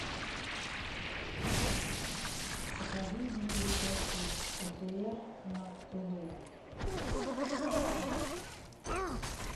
покажи мне передачу отр на тв